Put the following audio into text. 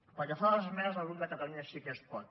pel que fa a les esmenes del grup de catalunya sí que es pot